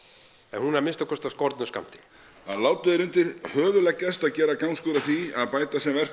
hún er að minnsta kosti af skornum skammti látið er undir höfuð leggjast að gera gangskör í því að bæta sem vert